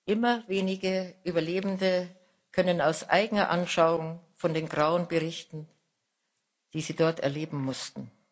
Immer weniger Überlebende können aus eigener Anschauung von den Grauen berichten, die sie dort erleben mussten.